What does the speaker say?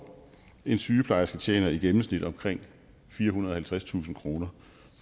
en sygeplejerske tjener i gennemsnit omkring firehundrede og halvtredstusind kroner